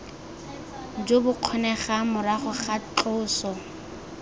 jo bokgonegang morago ga tloso